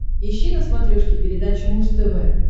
ищи на смотрешке передачу муз тв